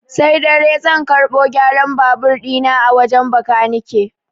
Sai dare zan karɓo gyaran babur ɗi na a wajen bakanike.